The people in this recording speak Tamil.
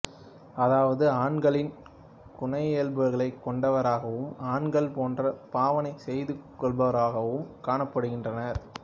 அதாவது ஆண்களின் குணயியல்புகளைக் கொண்டவராகவும் ஆண்கள் போன்று பாவனை செய்துக்கொள்பவர்களாகவும் காணப்படுகின்றனர்